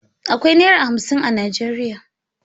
Akwai Naira hamsin a Najeriya.